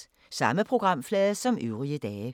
Samme programflade som øvrige dage